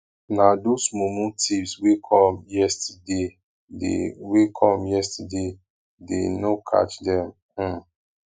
na those mumu thieves wey come yesterdaydey wey come yesterdaydey no catch dem um